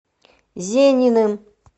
зениным